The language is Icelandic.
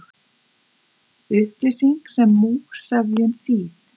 Upplýsing sem múgsefjun, þýð.